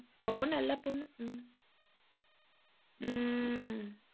ரொம்ப நல்லா பொண்ணு உம் உம்